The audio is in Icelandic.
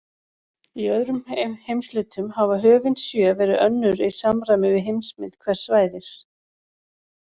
Í öðrum heimshlutum hafa höfin sjö verið önnur í samræmi við heimsmynd hvers svæðis.